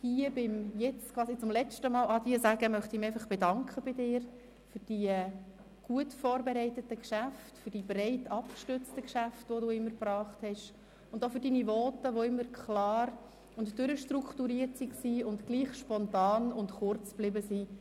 Hier beim letzten Adieu sagen möchte ich mich bei ihr einfach für ihre gut vorbereiteten und breit abgestützten Geschäfte bedanken sowie für ihre Voten, die immer klar und durchstrukturiert waren und gleichwohl spontan und kurz geblieben sind.